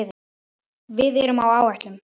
Við erum á áætlun.